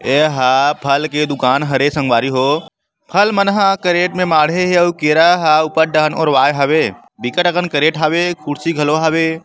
ए ह फल के दुकान हरे संगवारी हो फल मन ह केर्रेट में माडे हे यो केरा ह ऊपर ढान ओराय हवे बिकट असन केर्रेट हवे कुर्सी घलो हवे।